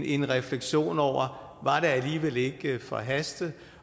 en refleksion over om alligevel ikke forhastet